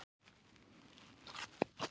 Kristján: En kemstu hjá því?